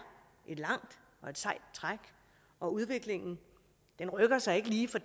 et langt og sejt træk og udviklingen rykker sig ikke lige fra